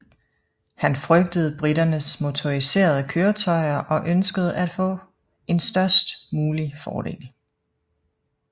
Han frygtede briternes motoriserede køretøjer og ønskede at få en størst mulig fordel